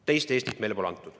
Teist Eestit meile pole antud.